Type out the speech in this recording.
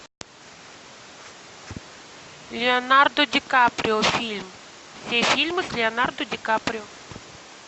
леонардо ди каприо фильм все фильмы с леонардо ди каприо